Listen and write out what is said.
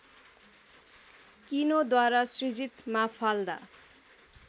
कीनोद्वारा सृजित माफाल्दा